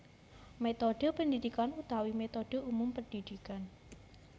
Métodhe pendidikan utawi métodhe umum pendidikan